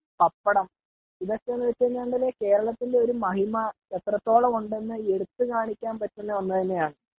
പപ്പടം .ഇതൊക്കെ എന് വെച്ച് കഴിഞ്ഞാൽ കേരളത്തിന്റെ ഒരു മഹിമ എത്ര തോളം ഉണ്ടെന്നു എടുത്തു കാണിക്കാൻ പറ്റുന്ന ഒന്ന് തന്നെ ആണ് .